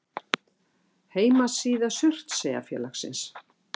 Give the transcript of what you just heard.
Heimasíða Surtseyjarfélagsins.